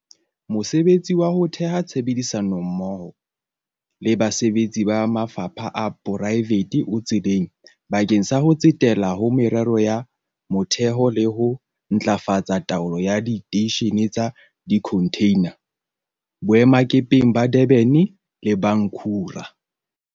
Mosebetsi wa ho theha tshebedisano mmoho le basebetsi ba mafapha a poraefete o tseleng bakeng sa ho tsetela ho meralo ya motheho le ho ntlafatsa taolo ya diteishene tsa dikhonthina boemakepeng ba Durban le ba Ngqura.